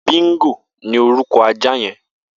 Bingó ni órùkọ̀ àjá yẹ̀n